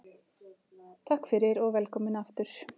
Takk fyrir og velkomin aftur.